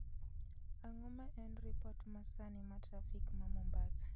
Ang'o ma en ripot masani ma trafik ma Mombasa